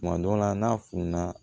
Tuma dɔ la n'a fununa